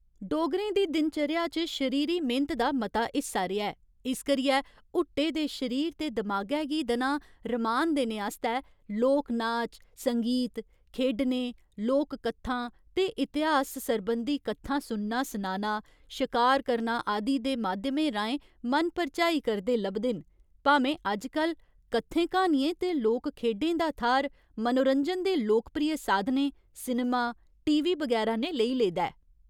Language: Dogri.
डोगरें दी दिनचर्या च शरीरी मेह्नत दा मता हिस्सा रेहा ऐ, इस करियै हुट्टे दे शरीर ते दमागै गी दनां रमान देने आस्तै लोक नाच, संगीत, खेढने, लोककत्थां ते इतिहास सरबंधी कत्थां सुनना सनाना, शकार करना आदि दे माध्यमें राहें मन परचाई करदे लभदे न भामें अजकल कत्थें क्हानियें ते लोक खेढें दा थाह्‌र मनोरंजन दे लोकप्रिय साधनें सिनेमा, टीवी बगैरा ने लेई लेदा ऐ।